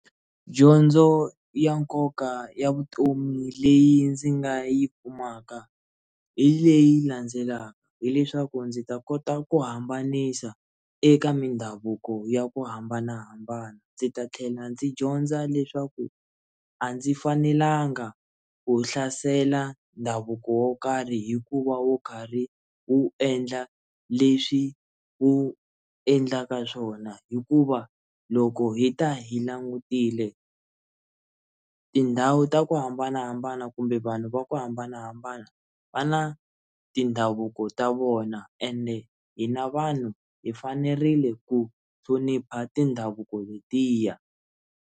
Dyondzo ya nkoka ya vutomi leyi ndzi nga yi kumaka hi leyi landzelaka hileswaku ndzi ta kota ku hambanisa eka mindhavuko ya ku hambanahambana ndzi ta tlhela ndzi dyondza leswaku a ndzi fanelanga ku hlasela ndhavuko wo karhi hikuva wo karhi wu endla leswi wu endlaka swona hikuva loko hi ta hi langutile tindhawu ta ku hambanahambana kumbe vanhu va ku hambanahambana va na tindhavuko ta vona ende hina vanhu hi fanerile ku hlonipha tindhavuko letiya.